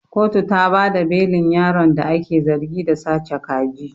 Kotu ta bada belin yaron da ake zargi da sace kaji.